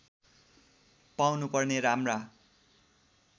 पाउनु पर्ने राम्रा